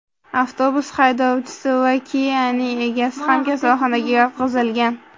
Avtobus haydovchisi va Kia’ning egasi ham kasalxonaga yotqizilgan.